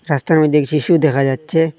রাস্তার মইধ্যে এক শিশু দেখা যাচ্ছে।